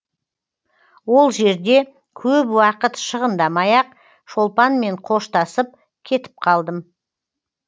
ол жерде көп уақыт шығындамай ақ шолпанмен қоштасып кетіп қалдым